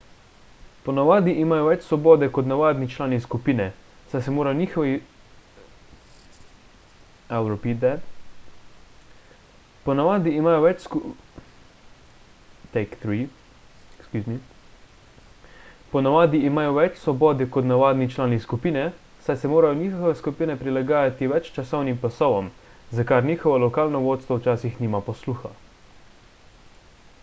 ponavadi imajo več svobode kot navadni člani skupine saj se morajo njihove skupine prilagajati več časovnim pasovom za kar njihovo lokalno vodstvo včasih nima posluha